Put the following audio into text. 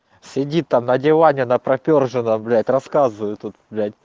сиди там на диване на пропёр же блять рассказывай тут блять